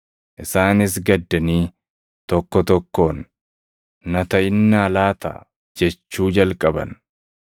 Isaanis gaddanii, tokko tokkoon, “Na taʼinnaa laata?” jechuu jalqaban.